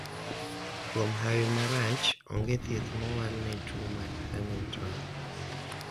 kuom hawi marach, onge thieth mowal ne tuo mar hunington